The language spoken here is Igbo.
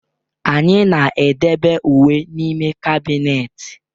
Anyị na-edebe uwe n'ime kabinet.